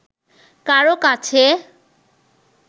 কারও কাছে